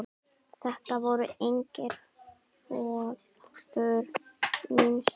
Þetta voru eignir föður míns.